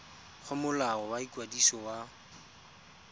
go molao wa ikwadiso wa